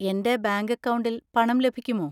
എന്‍റെ ബാങ്ക് അക്കൗണ്ടിൽ പണം ലഭിക്കുമോ?